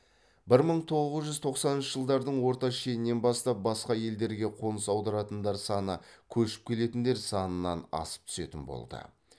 бір мың тоғыз жүз тоқсаныншы жылдардың орта шенінен бастап басқа елдерге қоныс аударатындар саны көшіп келетіндер санынан асып түсетін болды